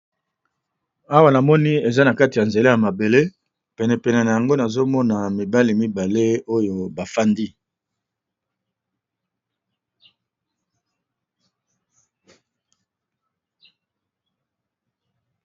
Awa namoni eza na kati ya nzela ya mabele pene pene na yango nazomona mibali mibale oyo ba fandi.